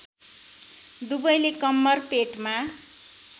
दुवैले कम्मर पेटमा